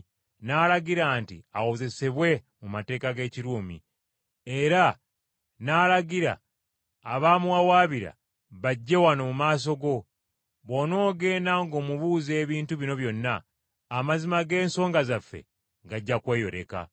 n’alagira nti awozesebwe mu mateeka g’Ekiruumi, era n’alagira abamuwawaabira bajje wano mu maaso go. Bw’onoogenda ng’omubuuza ebintu bino byonna, amazima g’ensonga zaffe gajja kweyoleka.”